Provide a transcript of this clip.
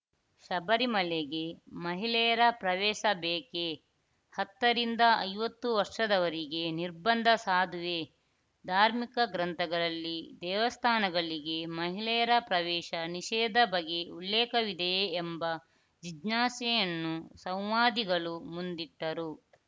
ಶಬರಿಮಲೆಗೆ ಮಹಿಳೆಯರ ಪ್ರವೇಶ ಬೇಕೇ ಹತ್ತರಿಂದ ಐವತ್ತು ವರ್ಷದವರಿಗೆ ನಿರ್ಬಂಧ ಸಾಧುವೇ ಧಾರ್ಮಿಕ ಗ್ರಂಥಗಳಲ್ಲಿ ದೇವಸ್ಥಾನಗಳಿಗೆ ಮಹಿಳೆಯರ ಪ್ರವೇಶ ನಿಷೇಧ ಬಗ್ಗೆ ಉಲ್ಲೇಖವಿದೆಯೇ ಎಂಬ ಜಿಜ್ಞಾಸೆಯನ್ನು ಸಂವಾದಿಗಳು ಮುಂದಿಟ್ಟರು